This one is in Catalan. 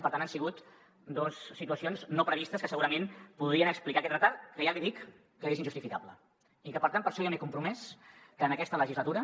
per tant han sigut dos situacions no previstes que segurament podrien explicar aquest retard que ja li dic que és injustificable i que per tant per això ja m’he compromès en aquesta legislatura